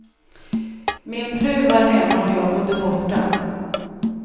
Min fru var hemma och jag bodde borta.